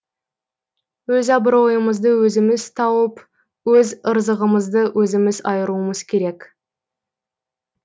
өз абыройымызды өзіміз тауып өз ырзығымызды өзіміз айыруымыз керек